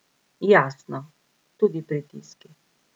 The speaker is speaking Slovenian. Jasno, tudi pritiski.